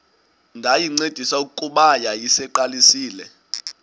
ndayincedisa kuba yayiseyiqalisile